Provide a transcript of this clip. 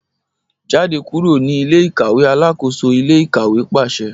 Jade kuro ni ile-ikaweAlakoso ile-ikawe paṣẹ